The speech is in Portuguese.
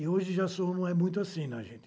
E hoje já sou, não é muito assim, gente.